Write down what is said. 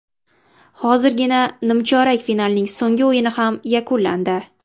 Hozirgina nimchorak finalning so‘nggi o‘yini ham yakunlandi.